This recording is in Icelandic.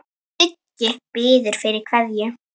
Siggi biður fyrir kveðju.